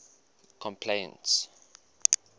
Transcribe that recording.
complaints